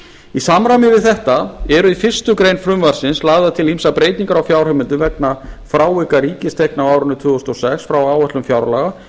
í samræmi við þetta eru í fyrstu grein frumvarpsins lagðar til ýmsar breytingar á fjárheimildum vegna frávika ríkistekna á árinu tvö þúsund og sex frá áætlun fjárlaga